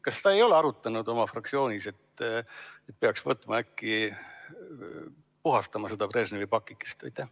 Kas sa ei ole arutanud oma fraktsioonis, et äkki peaks võtma kätte ja puhastama seda Brežnevi pakikest?